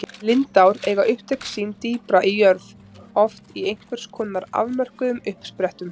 Lindár eiga upptök sín dýpra í jörð, oft í einhvers konar afmörkuðum uppsprettum.